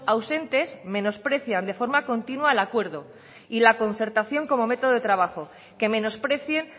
ausentes menosprecian de forma continua el acuerdo y la concertación como método de trabajo que menosprecien